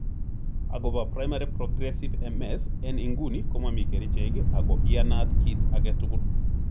Agopo primary progressive MS en inguni komomi kerichek ago iyanat kit agetugul.